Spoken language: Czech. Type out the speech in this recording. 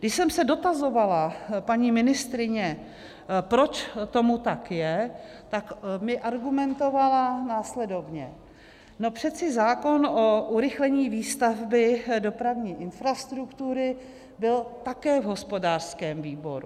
Když jsem se dotazovala paní ministryně, proč tomu tak je, tak mi argumentovala následovně: "No přeci zákon o urychlení výstavby dopravní infrastruktury byl také v hospodářském výboru."